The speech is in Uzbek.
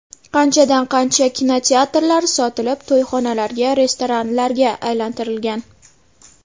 Qanchadan- qancha kinoteatrlar sotilib, to‘yxonalarga, restoranlarga aylantirilgan.